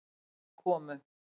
Við komu